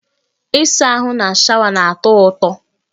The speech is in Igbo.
Ịsa ahụ na shawa na-atọ ụtọ